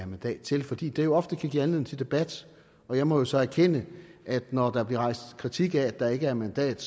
mandat til fordi det ofte kan give anledning til debat og jeg må jo så erkende at når der bliver rejst kritik af at der ikke er mandat